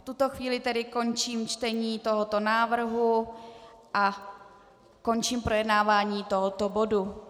V tuto chvíli tedy končím čtení tohoto návrhu a končím projednávání tohoto bodu.